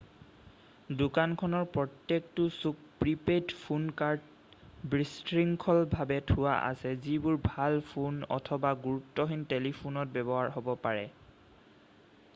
দোকানখনৰ প্ৰত্যেকটো চুক প্ৰি-পেইড ফোন কাৰ্ড বিশৃঙ্খলভাৱে থোৱা আছে যিবোৰ ভাল ফোন অথবা গুৰুত্বহীন টেলিফোনত ব্যৱহাৰ হ'ব পাৰে